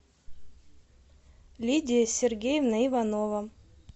лидия сергеевна иванова